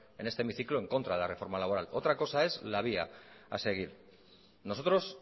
en este hemiciclo en contra de la reforma laboral otra cosa es la vía a seguir nosotros